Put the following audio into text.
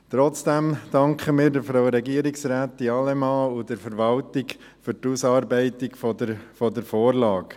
Trotzdem danken wir Frau Regierungsrätin Allemann und der Verwaltung für die Ausarbeitung der Vorlage.